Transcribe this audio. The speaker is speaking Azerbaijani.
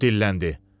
O dilləndi.